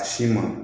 A si ma